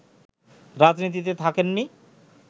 রাজনীতিতে থাকেননি